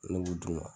Ne b'u d'u ma